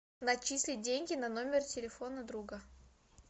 начислить деньги на номер телефона друга